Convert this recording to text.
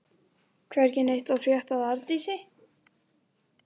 Nema í Sköpunarsögu okkar var Skaparinn röð af tilviljunum.